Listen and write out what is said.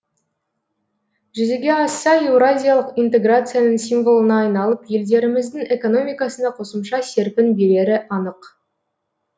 жүзеге асса еуразиялық интеграцияның символына айналып елдеріміздің экономикасына қосымша серпін берері анық